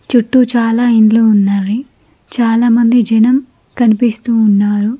చుట్టూ చాలా ఇండ్లు ఉన్నాయి చాలామంది జనం కనిపిస్తూ ఉన్నారు.